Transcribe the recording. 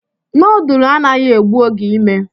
Noodlu anaghị egbu oge ime